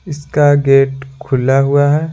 इसका गेट खुला हुआ है।